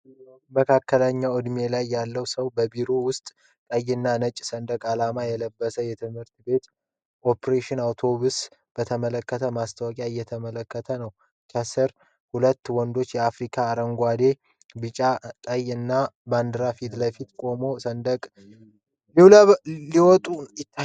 መካከለኛ ዕድሜ ላይ ያለ ሰው በቢሮ ውስጥ ቀይና ነጭ ሰንደቅ ዓላማ ያለበትን የትምህርት ቤት ኦፕሬሽን አውቶሜሽን በተመለከተ ማስታወቂያ እየተመለከተ ነው። ከሥር ሁለት ወንዶች የአፍሪካ አረንጓዴ፣ ቢጫና ቀይ ባንዲራ ፊት ለፊት ቆመው ሰነድ ሲለዋወጡ ይታያል።